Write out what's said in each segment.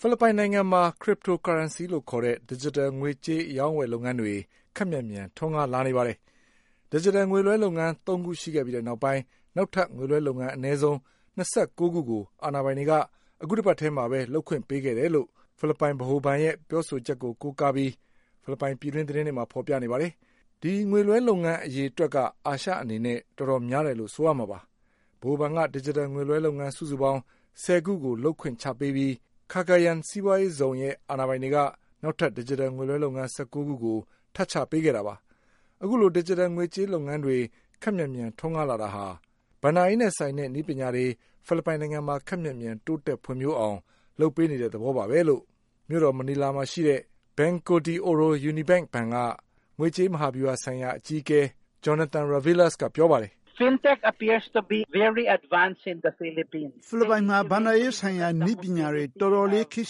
ဖိလစ်ပိုင်နိုင်ငံမှာ Cryptocurrency လို့ခေါ်တဲ့ ဒစ်ဂျစ်တယ်လ် ငွေကြေးအရောင်းအဝယ်လုပ်ငန်းတွေ ခပ်မြန်မြန် ထွန်းကားလာနေပါတယ်။ ဒစ်ဂျစ်တယ်လ် ငွေလွှဲလုပ်ငန်း ၃ ခုရှိခဲ့ပြီးနောက်ပိုင်း နောက်ထပ်ငွေလွှဲလုပ်ငန်း အနည်းဆုံး ၂၉ ခုကို အာဏာပိုင် တွေက အခုတပတ်ထဲမှာပဲ လုပ်ခွင့်ပေးခဲ့တယ်လို့ ဖိလစ်ပိုင်ဗဟိုဘဏ်ရဲ့ပြောဆိုချက်ကို ကိုးကားပြီး ဖိလစ်ပိုင်ပြည်တွင်း သတင်းတွေမှာ ဖေါ်ပြပါတယ်။ ဒီငွေလွှဲလုပ်ငန်းအရေအတွက်က အာရှအနေနဲ့ တော်တော်များတယ်လို့ ဆိုရမှာပါ။ ဗဟိုဘဏ်က ဒစ်ဂျစ်တယ်လ် ငွေလွှဲလုပ်ငန်းစုစုပေါင်း ဆယ်ခုလုပ်ခွင့်ချပေးပြီး Cagayan စီးပွါးရေးဇုန်ရဲ့ အာဏာပိုင်တွေက နောက်ထပ် ဒစ်ဂျစ်တယ်လ် ငွေလွှဲလုပ်ငန်း ၁၉ ခုကို ထပ်ချပေးခဲ့တာပါ။ အခုလို ဒစ်ဂျစ်တလ်ငွေကြေးလုပ်ငန်းတွေ ခပ်မြန်မြန် ထွန်းကားလာတာဟာ ဘဏ္ဍာရေးနဲ့ ဆိုင်တဲ့နည်းပညာတွေကို ဖိလစ်ပိုင်နိုင်ငံမှာ ခပ်မြန်မြန် တိုးတက်ဖွံ့ဖြိုးအောင်လုပ်ပေးနေတဲ့ သဘောပါပဲလို့ မြို့တော်မနီလာမှာရှိတဲ့ Banco de Oro UniBank ဘဏ်က ဈေးကွက်မဟာဗျူဟာဆိုင်ရာ အကြီး အကဲ Jonathan Ravelas ကပြောပါတယ်။ "ဖိလစ်ပိုင်မှာ ဘဏ္ဍာရေးဆိုင်ရာ နည်းပညာတွေ တော်တော်လေး ခေတ်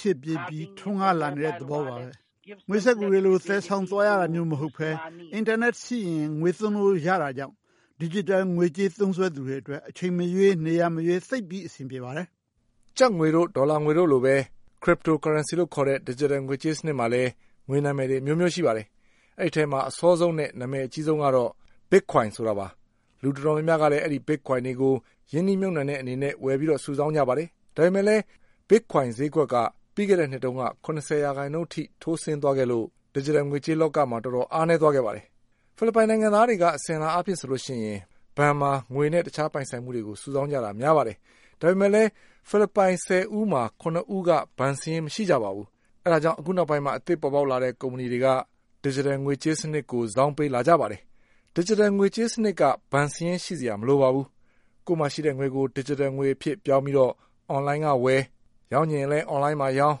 ရှေ့ပြေးပြီး ထွန်းကားလာနေတဲ့ သဘောပါပဲ။ ငွေစက္ကူတွေလို သယ်ဆောင်သွားရတာမျိုးမဟုတ်ဘဲ အင်တာနက်ရှိရင် ငွေသုံးလို့ရတာကြောင့် ဒစ်ဂျစ်တယ်လ် ငွေကြေးသုံးစွဲသူတွေအတွက် အချိန်မရွေး၊ နေရာမရွေး သိပ်ပြီး အဆင်ပြေပါတယ်။" ကျပ်တို့ ဒေါ်လာတို့လိုပဲ Cryptocurrency လို့ခေါ်တဲ့ Digital ငွေကြေးစနစ်မှာလည်း ငွေနာမည်တွေ အမျိုးမျိုးရှိပါတယ်။ အဲဒီအထဲမှာ အစောဆုံးနဲ့ နာမည်အကြီးဆုံးကတော့ Bitcoin ပါပဲ။ လူတော်တော်များများကလည်း Bitcoin တွေကိုရင်းနှီး မြှုပ်နှံတဲ့အနေနဲ့ ဝယ်ပြီး စုဆောင်းကြပါတယ်။ ဒါပေမဲ့လည်း Bitcoin ဈေးတွေက ပြီးခဲ့တဲ့နှစ်တုန်းက ၇၀ ရာခိုင်နှုန်းထိုးကျသွားခဲ့လို့ ဒစ်ဂျစ်တယ်လ်ငွေကြေးလောက တော်တော်အားနည်းသွားခဲ့ပါတယ်။ ဖိလစ်ပိုင်နိုင်ငံသားတွေက အစဉ်အလာအားဖြင့်ဆိုရင် ဘဏ်မှာငွေနဲ့ တခြားပိုင်ဆိုင်မှုတွေကို စုဆောင်းကြတာများပါ တယ်။ ဒါပေမဲ့လည်း ဖိလစ်ပိုင် ၁၀ဦးမှာ ၇ဦးက ဘဏ်စာရင်းမရှိကြပါဘူး။ အဲဒါကြောင့် အခုနောက်ပိုင်း အသစ်ပေါ်ပေါက် ကုမ္ပဏီတွေက ဒစ်ဂျစ်တယ်လ်ငွေကြေးစနစ်ကို စောင်းပေးလာကြပါတယ်။ ဒစ်ဂျစ်တလ်ငွေကြေးစနစ်က ဘဏ်စာရင်းရှိစရာမလိုပါဘူး။ ကိုယ့်မှာရှိတဲ့ငွေကို ဒစ်ဂျစ်တယ်လ်ငွေအဖြစ်ပြောင်းပြီး အွန်လိုင်းကဝယ်၊ ရောင်းချင်ရင်လည်း အွန်လိုင်းမှာရောင်း၊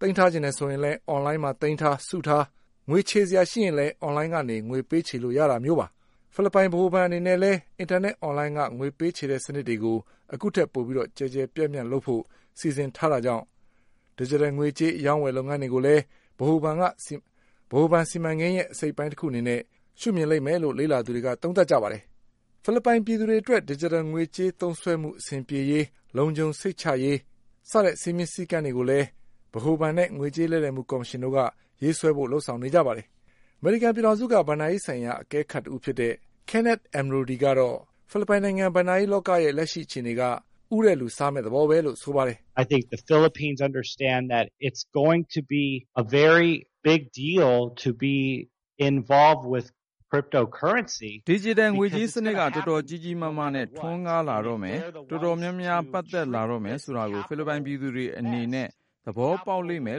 သိမ်းထားချင်ရင်လည်း အွန်လိုင်းမှာသိမ်းထား၊ စုထား ငွေချေစရာရှိရင်လည်း အွန်လိုင်းကနေပဲ ပေးချေလို့ရတာမျိုးပါ။ ဖိလစ်ပိုင် ဗဟိုဘဏ်အနေနဲ့လည်း အင်တာနက်အွန်လိုင်းက ငွေပေးချေတဲ့ စနစ်တွေကို အခု ထက်ပိုပြီး ကျယ်ကျယ်ပြန့်ပြန့်လုပ်ဖို့ စီစဉ်ထားတာကြောင့် ဒစ်ဂျစ်တယ်လ်ငွေကြေး အရောင်းအဝယ်လုပ်ငန်းတွေကိုလည်း ဗဟိုဘဏ် စီမံကိန်းရဲ့ အစိတ်အပိုင်း တခုအနေနဲ့ မြင်လိမ့်မယ်လို့ လေ့လာသူတွေက သုံးသပ်ကြပါတယ်။ ဖိလစ်ပိုင်ပြည်သူတွေအတွက် ဒစ်ဂျစ်တယ်လ်ငွေကြေး သုံးစွဲမှုအဆင်ပြေရေး၊ လုံခြုံစိတ်ချရရေး စည်းမျဉ်းစည်းကမ်းတွေကိုလည်း ဗဟိုဘဏ်နဲ့ငွေကြေးလဲလှယ်မှုကော်မရှင်တို့က ရေးဆွဲဖို့ လုပ်ဆောင်နေကြပါတယ်။ အမေရိကန်ပြည်ထောင်စုက ဘဏ္ဍာရေးဆိုင်ရာအကဲခတ် Kenneth Ameduri ကတော့ ဖိလစ်ပိုင်နိုင်ငံရဲ့ ဘဏ္ဍာရေး လောက လက်ရှိအခြေအနေကတော့ ဦးတဲ့လူစားမယ့်သဘောပဲလို့ဆိုပါတယ်။ "ဒစ်ဂျစ်တယ်လ်ငွေကြေးစနစ်က တော်တော်ကြီးကြီးမားမားနဲ့ ထွန်းကားလာတော့မယ်။ တော်တော်များများ ပတ်သက်လာတော့မယ်ဆိုတာကို ဖိလစ်ပိုင်ပြည်သူတွေအနေနဲ့ သဘောပေါက်လိမ့်မယ်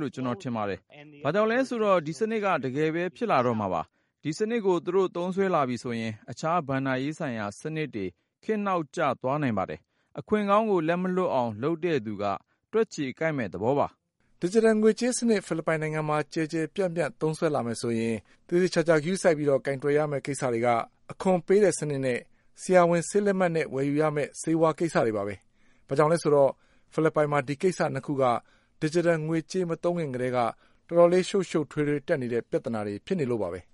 လို့ ကျနော်ထင်ပါတယ်။ ဘာကြောင့်လဲဆိုတော့ ဒီစနစ်က တကယ်ပဲ ဖြစ်လာတော့မှာပါ။ ဒီစနစ်ကိုသူတို့ သုံးစွဲလာပြီဆိုရင် တခြားဘဏ္ဍာရေးဆိုင်ရာ စနစ်တွေ ခေတ်နောက်ကျသွားနိုင်ပါတယ်။ အခွင့်ကောင်းကို လက်မလွှတ်အောင်လုပ်တဲ့သူက တွက်ချေကိုက်မယ့် သဘောပါ။" ဒစ်ဂျစ်တယ်လ် ငွေကြေးစနစ်ဖိလစ်ပိုင်နိုင်ငံမှာ ကျယ်ကျယ်ပြန့်ပြန့် သုံးစွဲမယ်ဆိုရင် သေသေချာချာဂရုစိုက်ရမယ့် ကိစ္စတွေကတော့ အခွန်ပေးတဲ့ကိစ္စနဲ့ ဆရာဝန်ဆေးလက်မှတ်နဲ့ ၊ယ်ယူရမယ့် ဆေးဝါးကိစ္စတွေပါပဲ။ ဘာကြောင့်လဲဆိုတော့ ဖိလစ်ပိုင်မှာ ဒီကိစ္စ ၂ ခုက ဒစ်ဂျစ်တယ်လ် ငွေကြေးမသုံးခင်ကတည်းက တော်တော်ရှုပ်ရှုပ်ထွေးထွေးတက်နေတဲ့ ပြဿနာတွေဖြစ်လို့ပါပဲ။